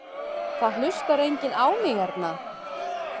Það hlustar enginn á mig hérna.